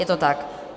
Je to tak?